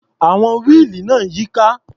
Àwọn wíìlì náà ń yíká.